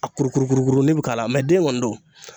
A kurukuru kuru kurukuruni bi k'a la mɛ den kɔni don